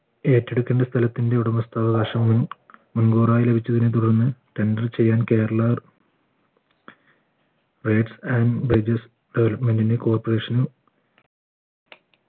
ഏറ്റെടുക്കുന്ന സ്ഥലത്തിൻറെ ഉടമസ്ഥ അവകാശം മുൻകൂറായി ലഭിച്ചതിന് തുടർന്ന് tender ചെയ്യാൻ കേരള Development ന്റെ corporation ന്